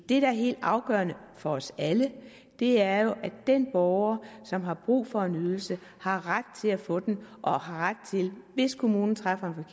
det der er helt afgørende for os alle er jo at den borger som har brug for en ydelse har ret til at få den og har ret til hvis kommunen træffer